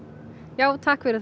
já takk fyrir